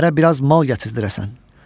Şəhərə biraz mal gətizdirəsən.